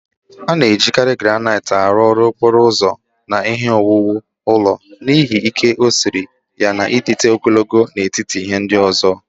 A na-ejikarị Granaịt arụ ọrụ okporo ụzọ na ihe ọwụwụ ụlọ n'ihi ike o siri ya na ịdịte ogologo n'etiti ihe ndị ọzọ.